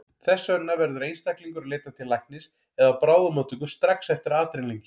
Þess vegna verður einstaklingur að leita til læknis eða á bráðamóttöku strax eftir adrenalín-gjöf.